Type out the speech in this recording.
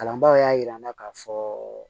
Kalanbaa y'a yira n na k'a fɔ